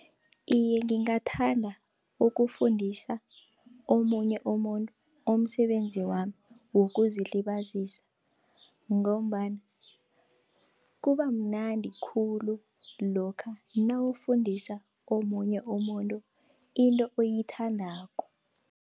Iye, ngingathanda ukufundisa omunye umuntu umsebenzi wami wokuzilibazisa, ngombana kuba mnandi khulu lokha nawufundisa omunye umuntu into oyithandako.